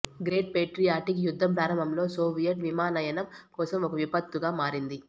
great patriotic యుద్ధం ప్రారంభంలో Soviet విమానయానం కోసం ఒక విపత్తుగా మారింది